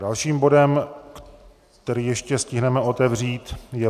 Dalším bodem, který ještě stihneme otevřít, je